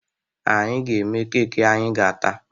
Anyị ga-eme keeki anyị ga-ata